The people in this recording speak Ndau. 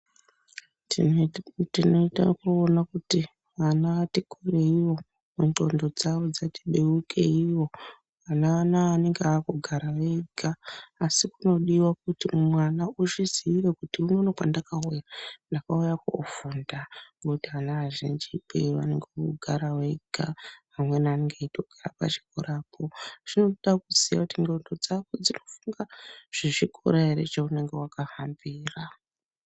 Tinoita ekuona kuti vana vatikurueiwo ndhlondo dzawo dzati beukeiwo ana anaa anonga akugara vega asi kunodiwa kuti mwana uzvizire kuti unono kwandakauya ndakauya kofunda ngokuti vana azhiji ee vanenge vogara vega vamweni vanonga veitogara pachikorapo, zvinodakuziya kuti ndlondo dzangu dzirikufunga zvechikora ere chaunenge wakahambira.